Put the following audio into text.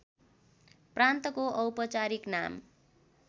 प्रान्तको औपचारिक नाम